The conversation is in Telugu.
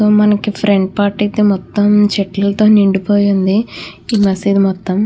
మనకి ఫ్రంట్ పార్ట్ అయితే మొత్తం చెట్లతో నిండిపోయి ఉంది ఈ నర్సరీ మొత్తం.